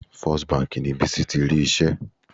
First Bank ni Bísí ti rí iṣẹ́.